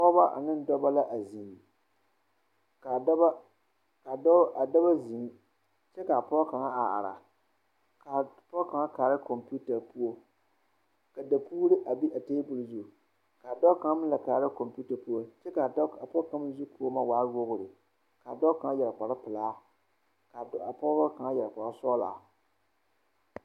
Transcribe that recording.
Pɔgeba ane dɔba la ziŋ kaa dɔɔ kaa dɔɔ kaŋa ziŋ kyɛ kaapɔge kaŋa a ara kaa poɔŋ kaŋakaara kompeuta poɔ ka dakogro a be a tabol zu kaapɔge kaŋ meŋ la kaara kompeuta poɔ kyɛ kaa dɔɔ a pɔge kaŋ zukɔɔmɔ waa wogre kaa dɔɔ kaŋ yɛre kpare pilaa kaa pɔgeba kaŋ yɛre kpare sɔglaa.